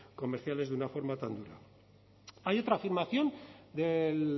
comerciales de una forma tan dura hay otra afirmación del